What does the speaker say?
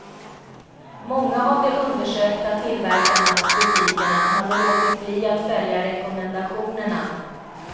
Många av de undersökta tillverkarna och butikerna hade låtit bli att följa rekommendationerna.